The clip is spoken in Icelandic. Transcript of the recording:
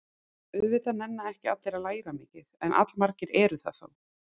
Auðvitað nenna ekki allir að læra mikið, en allmargir eru það þó.